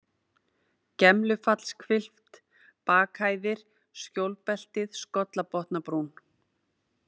Gemlufallshvilft, Bakhæðir, Skjólbeltið, Skollabotnabrún